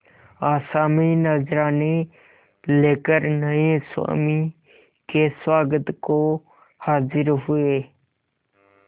आसामी नजराने लेकर नये स्वामी के स्वागत को हाजिर हुए